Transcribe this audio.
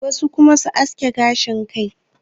wasu kuma su aske gashin Kai